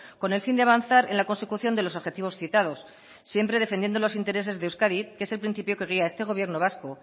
con el fin de avanzar en la consecución de los objetivos citados siempre defendiendo los intereses de euskadi que es el principio que guía este gobierno vasco